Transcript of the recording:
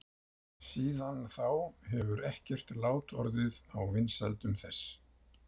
Síðan þá hefur ekkert lát orðið á vinsældum þess.